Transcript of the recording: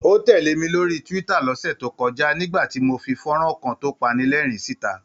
Ó tẹ̀lẹ̀ mi lórí Twitter lọ́sẹ̀ tó kọ́ja, nígbà tí mo fi fọ́nrán kan tó panilẹ́rìn-ín síta.